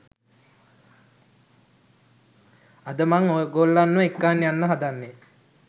අද මං ඔයගොල්ලන්ව එක්කන් යන්න හදන්නේ